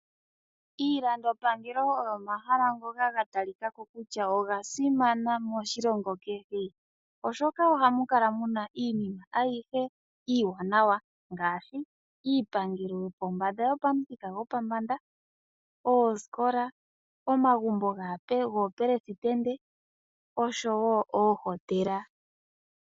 Iilandopangelo oyo omahala ngoka ga talika ko kutya oga simana moshilongo kehe, oshoka ohamu kala mu na iinima ayihe iiwanawa ngaashi iipangelo yopamuthika gopombanda, aasikola, omagumbo goopelesitende noshowo oohotela.